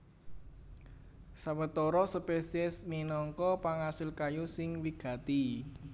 Sawetara spesies minangka pangasil kayu sing wigati